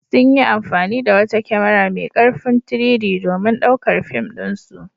Sun yi amfani da wata kyamara mai ƙarfin 3-D domin ɗaukar fim ɗinsu.